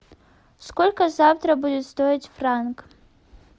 сколько завтра будет стоить франк